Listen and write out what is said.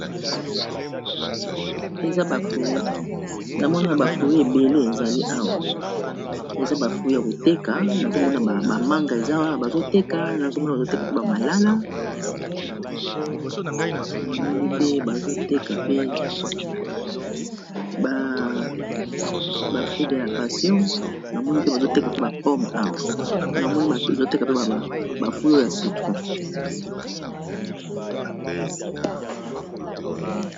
Namoni ya bafui ebele ezali awa eza bafui ya koteka, nazomona ba manga ebazoteka nazomona bazoteka pe ba malala bafui dela pation namoni mpe bazoteka mpe ba pome awa namoni azoteka pe bafui oyo ya citron.